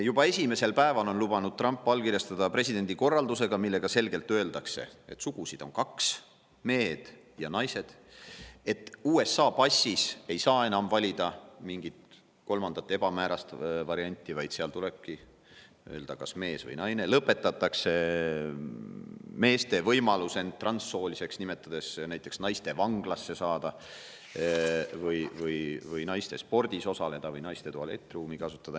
Juba esimesel päeval on Trump lubanud allkirjastada presidendi korralduse, millega selgelt öeldakse, et sugusid on kaks: on mehed ja naised; et USA passis ei saa enam valida mingit kolmandat ebamäärast varianti, vaid seal tulebki öelda, kas ollakse mees või naine; lõpetatakse meeste võimalus end transsooliseks nimetades näiteks naistevanglasse saada, naistespordis osaleda või naiste tualettruumi kasutada.